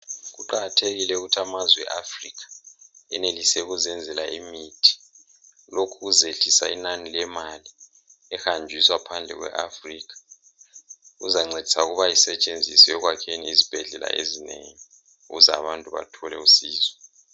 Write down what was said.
Kuqakathekile ukuthi amazwe eAfrica enelise ukuzenzela imithi. Lokhu kuzehlisa inani lemali ehanjiswa phandle kwe Africa. Kuzancedisa ukuba isetshenziswe ekwakheni izibhedlela ezinengi ukuze abantu bathole usizo.